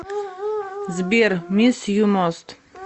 сбер мисс ю мост